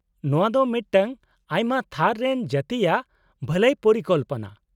- ᱱᱚᱶᱟ ᱫᱚ ᱢᱤᱫᱴᱟᱝ ᱟᱭᱢᱟ ᱛᱷᱟᱨ ᱨᱮᱱ ᱡᱟᱹᱛᱤᱭᱟᱜ ᱵᱷᱟᱹᱞᱟᱹᱭ ᱯᱚᱨᱤᱠᱚᱞᱯᱚᱱᱟ ᱾